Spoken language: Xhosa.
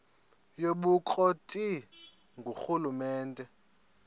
yobukro ti ngurhulumente